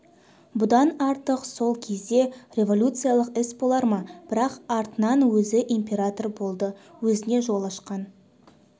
бұдан артық сол кезде революциялық іс болар ма бірақ артынан өзі император болды өзіне жол ашқан